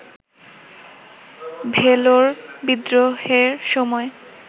ভেলোর বিদ্রোহের সময়